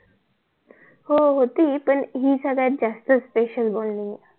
हो होती पण हि सगळ्यात जास्त असते SPECIAL BONDING